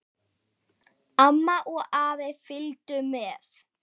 Amma og afi fylgdu með.